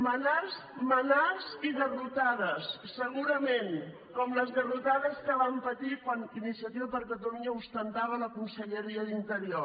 manars i garrotades segurament com les garrotades que vam patir quan iniciativa per catalunya ostentava la conselleria d’interior